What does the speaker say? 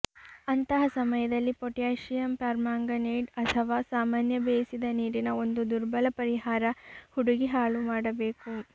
ಅಂತಹ ಸಮಯದಲ್ಲಿ potassium permanganate ಅಥವಾ ಸಾಮಾನ್ಯ ಬೇಯಿಸಿದ ನೀರಿನ ಒಂದು ದುರ್ಬಲ ಪರಿಹಾರ ಹುಡುಗಿ ಹಾಳು ಮಾಡಬೇಕು